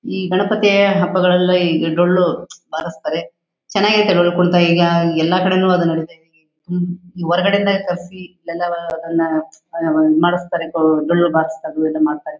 E Ganapati ಹಬ್ಬಗಳಲ್ಲಿ ಡೊಳ್ಳು ಬಾರಿಸ್ತಾರೆ. ಚೆನ್ನಾಗೈತೆ ಡೊಳ್ಳು ಕುಣಿತ ಈಗ ಎಲ್ಲಾ ಕಡೆನು ಅದು ನಡೀತಾ ಇದೆ. ಹೊರಗಡೆ ಇಂದ ತರ್ಸಿ ಇಲ್ಲೆಲ್ಲಾ ಅದನ್ನ ಆಹ್ಹ್ ಆಹ್ಹ್ ಮಾಡಿಸ್ತಾರೆ ಡೊಳ್ಳು ಬಾರ್ಸೋದು ಅದು ಇದು ಮಾಡ್ತಾರೆ.